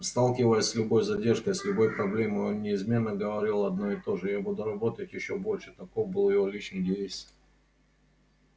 сталкиваясь с любой задержкой с любой проблемой он неизменно говорил одно и то же я буду работать ещё больше таков был его личный девиз